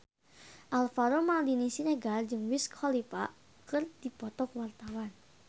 Alvaro Maldini Siregar jeung Wiz Khalifa keur dipoto ku wartawan